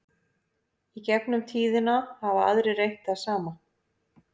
í gegnum tíðina hafa aðrir reynt það sama